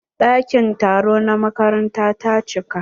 Ɗakin taro na makaranta ta cika.